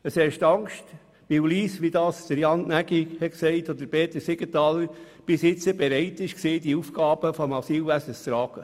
Weil Lyss bisher, wie Jan Gnägi und Peter Siegenthaler gesagt haben, bereit war, ohne Wenn und Aber die Aufgaben im Asylwesen zu tragen.